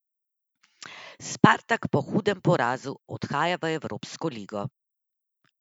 Spartak po hudem porazu odhaja v evropsko ligo.